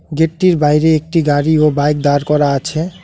গেটটির বাইরে একটি গাড়ি ও বাইক দাঁড় করা আছে।